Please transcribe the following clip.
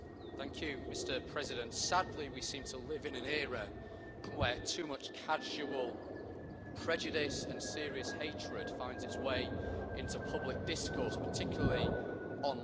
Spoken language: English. Mr President, sadly we seem to live in an era where too much casual prejudice and serious hatred finds its way into public discourse, particularly online.